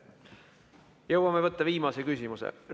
Jõuame võtta viimase küsimuse.